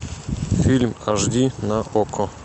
фильм аш ди на окко